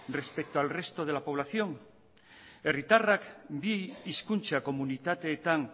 respecto al resto de la población herritarrak bi hizkuntza komunitateetan